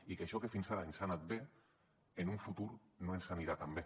i que això que fins ara ens ha anat bé en un futur no ens anirà tan bé